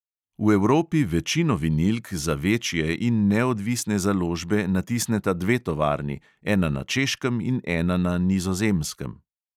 V evropi večino vinilk za večje in neodvisne založbe natisneta dve tovarni, ena na češkem in ena na nizozemskem.